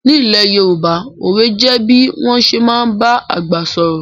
Ní ilẹ̀ Yorùbá, òwe jẹ bí wọ́n ṣé máa ń ba àgbà sọ̀rọ̀